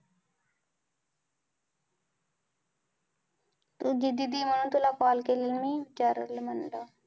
तुझी दीदी म्हणून तुला call केलेलं मी विचाराल म्हणालं